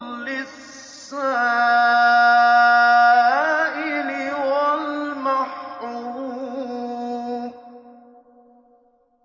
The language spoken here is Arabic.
لِّلسَّائِلِ وَالْمَحْرُومِ